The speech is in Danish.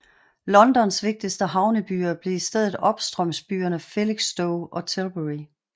Londons vigtigste havnebyer blev i stedet opstrømsbyerne Felixstowe og Tilbury